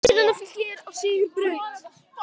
Stjarnan og Fylkir á sigurbraut